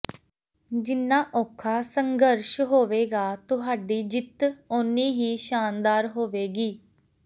ਜਿੰਨਾ ਔਖਾ ਸੰਘਰਸ਼ ਹੋਵੇਗਾ ਤੁਹਾਡੀ ਜਿੱਤ ਓਨੀ ਹੀ ਸ਼ਾਨਦਾਰ ਹੋਵੇਗੀ